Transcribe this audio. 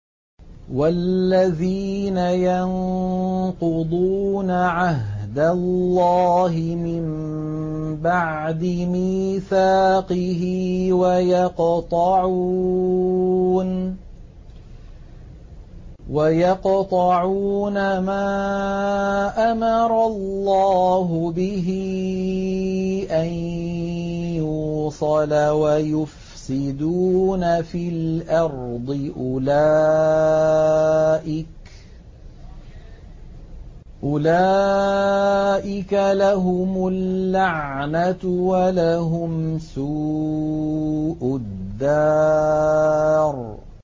وَالَّذِينَ يَنقُضُونَ عَهْدَ اللَّهِ مِن بَعْدِ مِيثَاقِهِ وَيَقْطَعُونَ مَا أَمَرَ اللَّهُ بِهِ أَن يُوصَلَ وَيُفْسِدُونَ فِي الْأَرْضِ ۙ أُولَٰئِكَ لَهُمُ اللَّعْنَةُ وَلَهُمْ سُوءُ الدَّارِ